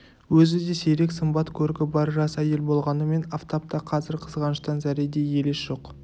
өзі де сирек сымбат көркі бар жас әйел болғанымен афтапта қазір қызғаныштан зәредей елес жоқ